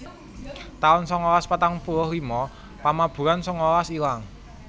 taun sangalas patang puluh lima Pamaburan sangalas ilang